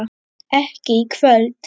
ekki í kvöld.